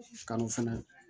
Kalo fɛnɛ